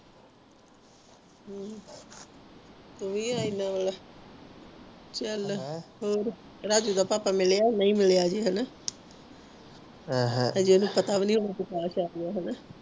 ਹਮ ਚਾਲ ਹੋਰ ਰਾਜੂ ਤਾ ਪਾਪਾ ਮਿਲਿਆ ਨਹੀਂ ਮਿਲਿਆ ਹਜੇ ਆਹਾ ਹਜੇ ਓਹਨੂੰ ਪਤਾ ਵੀ ਨਹੀਂ